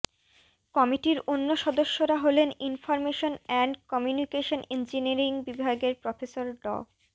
কমিটির অন্য সদস্যরা হলেন ইনফরমেশন অ্যান্ড কমিউনিকেশন ইঞ্জিনিয়ারিং বিভাগের প্রফেসর ড